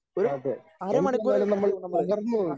ഒരു അരമണിക്കൂർ മതിയാവും നമ്മള് അ